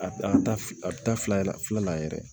A ta a bɛ taa fila yɛrɛ filanan yɛrɛ